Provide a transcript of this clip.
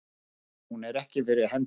Hún er ekki fyrir hendi.